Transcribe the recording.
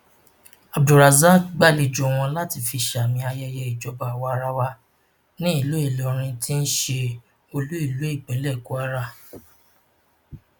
abdulrasaq gbàlejò wọn láti fi sàmì ayẹyẹ ìjọba àwaarawa nílùú ìlọrin ti ṣe olú ìlú ìpínlẹ kwara